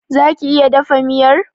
Za ki iya dafa miyar?